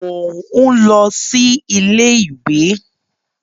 Mò ń lọ sí iléèwé